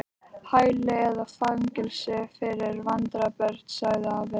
Hæli eða fangelsi fyrir vandræða- börn sagði afi.